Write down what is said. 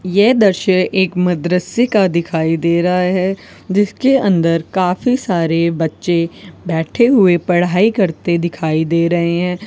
यह दृश्य एक मदरसे का दिखाई दे रहा है जिसके अंदर काफी सारे बच्चे बैठे हुए पढ़ाई करते दिखाई दे रहे हैं।